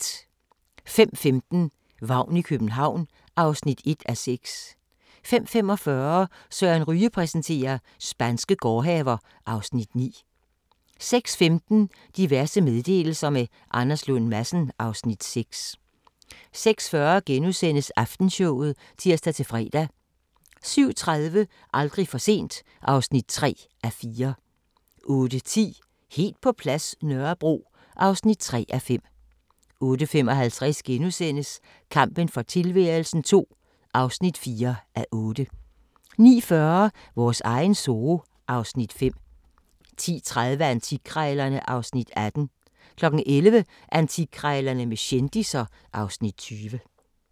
05:15: Vagn i København (1:6) 05:45: Søren Ryge præsenterer: Spanske gårdhaver (Afs. 9) 06:15: Diverse meddelelser – med Anders Lund Madsen (Afs. 6) 06:40: Aftenshowet *(tir-fre) 07:30: Aldrig for sent (3:4) 08:10: Helt på plads – Nørrebro (3:5) 08:55: Kampen for tilværelsen II (4:8)* 09:40: Vores egen zoo (Afs. 5) 10:30: Antikkrejlerne (Afs. 18) 11:00: Antikkrejlerne med kendisser (Afs. 20)